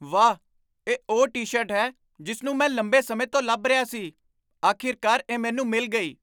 ਵਾਹ! ਇਹ ਉਹ ਟੀ ਸ਼ਰਟ ਹੈ ਜਿਸ ਨੂੰ ਮੈਂ ਲੰਬੇ ਸਮੇਂ ਤੋਂ ਲੱਭ ਰਿਹਾ ਸੀ ਅਖੀਰਕਾਰ, ਇਹ ਮੈਨੂੰ ਮਿਲ ਗਈ